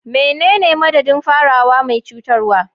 Menene madadin farawa mai cutarwa?